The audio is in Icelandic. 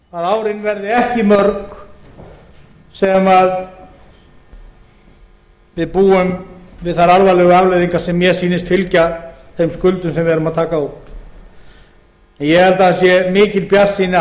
verða árin ekki mörg sem við búum við þær alvarlegu afleiðingar sem mér sýnast fylgja þeim skuldum sem við erum að taka á okkur en ég held að það sé mikil bjartsýni að